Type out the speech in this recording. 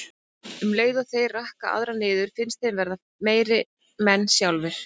Um leið og þeir rakka aðra niður finnst þeim þeir verða meiri menn sjálfir.